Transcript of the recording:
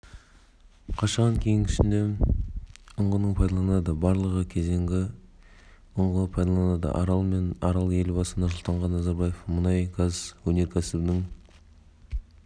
қашаған кенішінде ұңғының пайдаланылады барлығы кезеңде ұңғы пайдаланылады арал мен арал елбасы нұрсұлтан назарбаев мұнай-газ өнеркәсібінің